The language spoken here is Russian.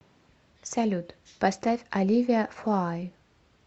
салют поставь оливия фоай